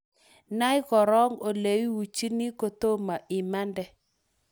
Nai korok oleiuchini kotomo imande